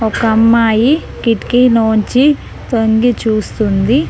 ఒక అమ్మాయి కిటికీ లోంచి తొంగి చూస్తుంది.